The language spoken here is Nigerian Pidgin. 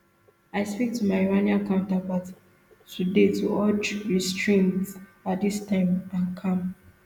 i speak to my iranian counterpart today to urge restraint at dis time and calm